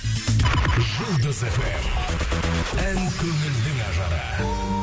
жұлдыз фм ән көңілдің ажары